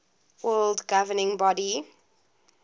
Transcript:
world governing body